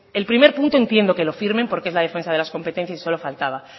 el primer punto entiendo que lo firmen porque es la defensa de las competencias y solo faltaba